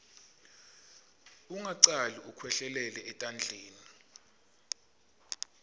ungacali ukwehlelele etandleni